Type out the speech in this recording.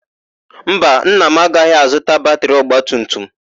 Mba, nna m agaghị azụta batịrị ọgbatumtum.